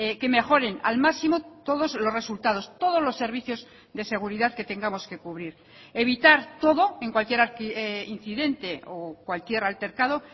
que mejoren al máximo todos los resultados todos los servicios de seguridad que tengamos que cubrir evitar todo en cualquier incidente o cualquier altercado